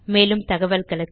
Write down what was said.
மேலும் தகவல்களுக்கு